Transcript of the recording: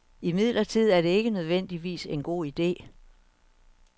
Imidlertid er det ikke nødvendigvis en god ide.